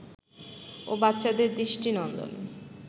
ও বাচ্চাদের দৃষ্টিনন্দন